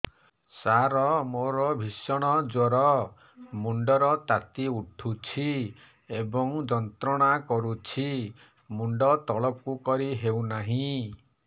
ସାର ମୋର ଭୀଷଣ ଜ୍ଵର ମୁଣ୍ଡ ର ତାତି ଉଠୁଛି ଏବଂ ଯନ୍ତ୍ରଣା କରୁଛି ମୁଣ୍ଡ ତଳକୁ କରି ହେଉନାହିଁ